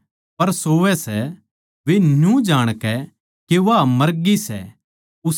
वे न्यू जाणकै के वा मरगी सै उसका मजाक उड़ाण लाग्ये